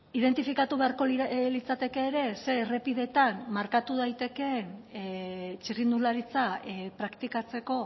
identifikatu beharko litzateke ere ze errepideetan markatu daitekeen txirrindularitza praktikatzeko